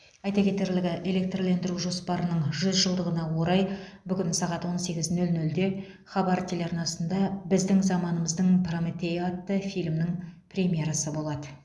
айта кетерлігі электрлендіру жоспарының жүз жылдығына орай бүгін сағат он сегіз нөл нөлде хабар телеарнасында біздің заманымыздың прометейі атты фильмнің премьерасы болады